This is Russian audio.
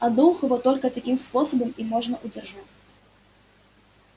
одноухого только таким способом и можно удержать